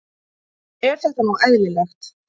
Er þetta nú eðlilegt?